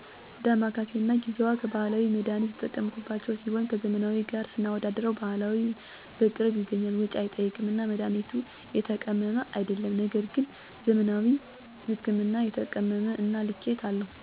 ደማከሴ እና ጊዜዋ ከባህላዊ መድሀኒት የተጠቀምሁባቸው ሲሆኑ ከዘመናዊ ጋር ስናወዳድረው ባህላዊ በቅርብ ይገኛል፣ ወጭ አይጠይቅም እና መድሀኒቱም የተቀመመ አይደለም ነገር ግን ዘመናዊ ህክምና የተቀመመ እና ልኬታ አለው፣ በቅርብ አይገኝም እንዲሁም ወጭ ይጠይቃል።